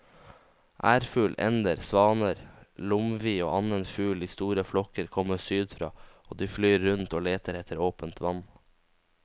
Ærfugl, ender, svaner, lomvi og annen fugl i store flokker kommer sydfra og de flyr rundt og leter etter åpent vann.